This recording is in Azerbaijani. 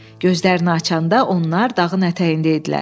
Gözlərini açanda onlar dağın ətəyində idilər.